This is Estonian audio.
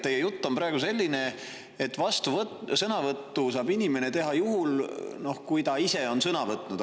Teie jutt on praegu selline, et vastusõnavõtu saab inimene teha juhul, kui ta ise on sõna võtnud.